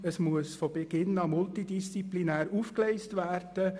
Ein solches muss von Beginn an multidisziplinär aufgegleist werden.